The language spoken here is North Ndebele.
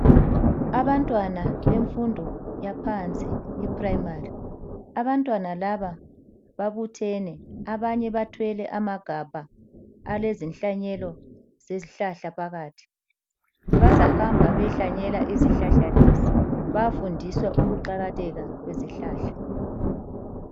Abantwana bemfundo yaphansi iprimary. Abantwana laba babuthene ,abanye bathwele amagabha alezinhlanyelo zezihlahla phakathi. Bazahamba beyehlanyela izihlahla lezi. Bayafundiswa ukuqakatheka kwezihlahla.